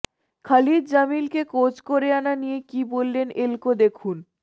খালিদ জামিলকে কোচ করে আনা নিয়ে কী বললেন এলকো দেখুন